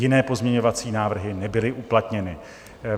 Jiné pozměňovací návrhy nebyly uplatněny.